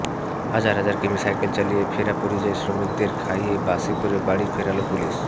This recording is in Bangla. হাজার হাজার কিমি সাইকেই চালিয়ে ফেরা পরিযায়ী শ্রমিকদের খাইয়ে বাসে করে বাড়ি ফেরাল পুলিশ